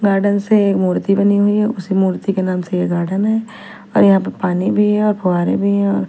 garden से एक मूर्ति बनी हुई है उस मूर्ति के नाम से ये गार्डन है और यहां पे पानी भी है फ़ुवारे भी है।--